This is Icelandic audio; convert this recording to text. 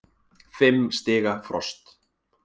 Fimm stiga frost.